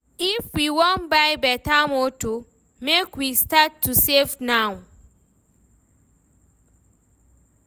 If we wan buy beta motor, make we start to save now.